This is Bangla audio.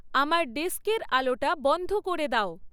আমার ডেস্কের আলোটা বন্ধ করে দাও